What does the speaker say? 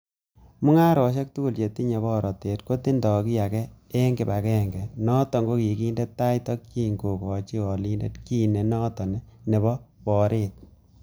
Mung'arosiek tugul che tinye borotet kotindo kiy agenge en kibag'enge, noton kokinde tai tokyin kokochi olindet kit nenoton nebo borot.